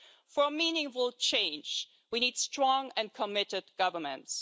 For meaningful change, we need strong and committed governments.